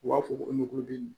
U b'a fɔ ko ɲɔgulɔden